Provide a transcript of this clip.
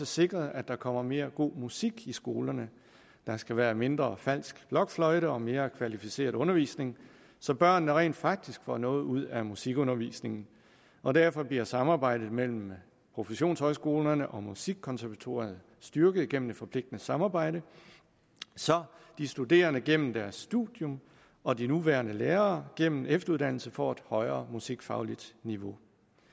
sikret at der kommer mere god musik i skolerne der skal være mindre falsk blokfløjte og mere kvalificeret undervisning så børnene rent faktisk får noget ud af musikundervisningen og derfor bliver samarbejdet mellem professionshøjskolerne og musikkonservatoriet styrket gennem et forpligtende samarbejde så de studerende gennem deres studium og de nuværende lærere gennem efteruddannelse får et højere musikfagligt niveau